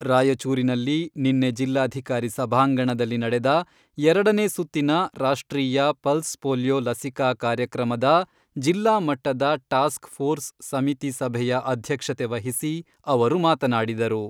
ರಾಯಚೂರಿನಲ್ಲಿ ನಿನ್ನೆ ಜಿಲ್ಲಾಧಿಕಾರಿ ಸಭಾಂಗಣದಲ್ಲಿ ನಡೆದ ಎರಡನೇ ಸುತ್ತಿನ ರಾಷ್ಟ್ರೀಯ ಪಲ್ಸ್ ಪೋಲಿಯೊ ಲಸಿಕಾ ಕಾರ್ಯಕ್ರಮದ ಜಿಲ್ಲಾ ಮಟ್ಟದ ಟಾಸ್ಕ್ ಫೋರ್ಸ್ ಸಮಿತಿ ಸಭೆಯ ಅಧ್ಯಕ್ಷತೆ ವಹಿಸಿ ಅವರು ಮಾತನಾಡಿದರು.